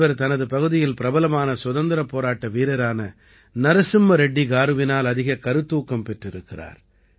இவர் தனது பகுதியில் பிரபலமான சுதந்திரப் போராட்ட வீரரான நரசிம்ம ரெட்டி காருவினால் அதிகக் கருத்தூக்கம் பெற்றிருக்கிறார்